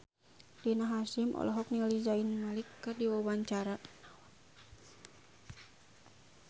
Rina Hasyim olohok ningali Zayn Malik keur diwawancara